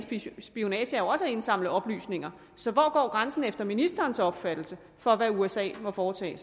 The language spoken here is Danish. spionage jo også er at indsamle oplysninger så hvor går grænsen efter ministerens opfattelse for hvad usa må foretage